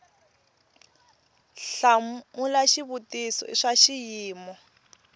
hlamula xivutiso i swa xiyimo